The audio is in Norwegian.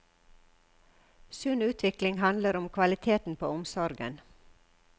Sunn utvikling handler om kvaliteten på omsorgen.